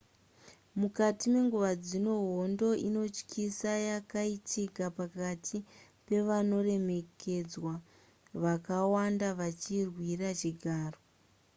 mukati menguva dzino hondo inotyisa yakaitika pakati pevanoremekedzwa vakawanda vachirwira chigaro